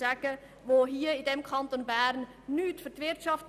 Letztere tun in unserem Kanton nichts für die Wirtschaft;